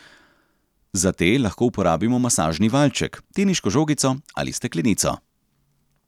Za te lahko uporabimo masažni valjček, teniško žogico ali steklenico.